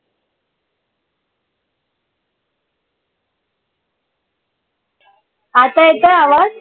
आता येत आहे आवाज?